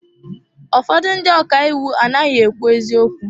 Ụfọdụ ndị ọka iwu anaghị ekwu eziokwu.